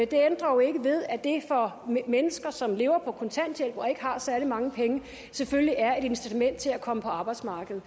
det ændrer ikke ved at det for mennesker som lever på kontanthjælp og ikke har særlig mange penge selvfølgelig er et incitament til at komme på arbejdsmarkedet